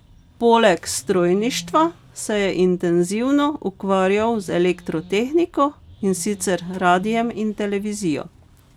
Poleg strojništva se je intenzivno ukvarjal z elektrotehniko, in sicer radiem in televizijo.